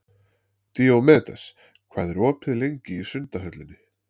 Díómedes, hvað er opið lengi í Sundhöllinni?